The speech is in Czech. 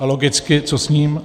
A logicky, co s ním?